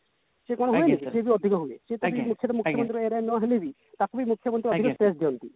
ସିଏ କଣ ହୁଏନି ସେ ତ ଅଧିକ ହୁଏ ସେଟ ମୁଖ୍ୟମନ୍ତ୍ରୀ area ନ ହେଲେ ବି ତାକୁ ବି ମୁଖ୍ୟମନ୍ତ୍ରୀ ଅଧିକା ଦିଅନ୍ତି